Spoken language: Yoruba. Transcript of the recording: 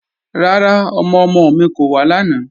Rárá, ọmọ-ọmọ mi kò wá làná